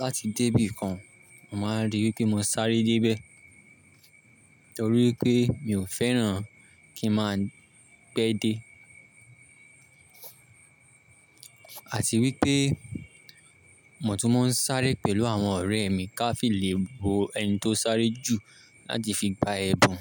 láti débí kan. Mo máa ríi pé mo sáré dé bẹ́ẹ̀ torí pé mi ò fẹ́ràn kí n máa pẹ́ dé. Àti wípé mo tún máa ń sáré pẹ̀lú àwọn ọ̀rẹ́ mi ká fi lè wo ẹni tó sáré jù láti fi gba ẹ̀bùn.